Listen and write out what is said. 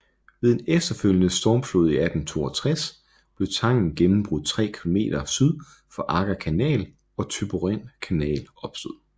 Ved en efterfølgende stormflod i 1862 blev tangen gennembrudt 3 km syd for Agger Kanal og Thyborøn Kanal opstod